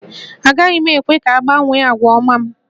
Agaghị m ekwe ka ọ gbanwee àgwà ọma m